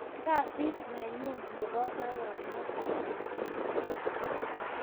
Kasit nenyun nebo baronok ab inguni